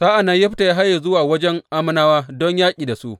Sa’an nan Yefta ya haye zuwa wajen Ammonawa don yaƙi da su.